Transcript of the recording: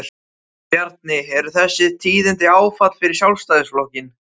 Bjarni, eru þessi tíðindi áfall fyrir Sjálfstæðisflokkinn?